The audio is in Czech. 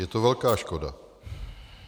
Je to velká škoda.